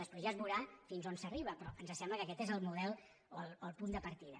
després ja es veurà fins on s’arriba però ens sembla que aquest és el model o el punt de partida